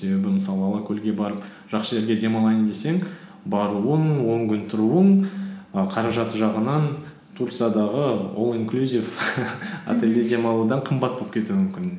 себебі мысалы алакөлге барып жақсы жерге демалайын десең баруың он күн тұруың і қаражаты жағынан турциядағы ол инклусив отельде демалудан қымбат болып кетуі мүмкін